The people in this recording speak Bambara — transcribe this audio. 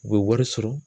U bɛ wari sɔrɔ